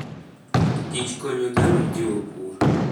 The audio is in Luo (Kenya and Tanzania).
kich konyo dhano jiwo pur.